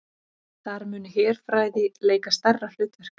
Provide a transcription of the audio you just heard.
Þar muni herfræði leika stærra hlutverk